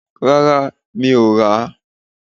Rárá, mi ò rà